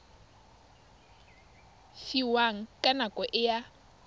fiwang ka nako e a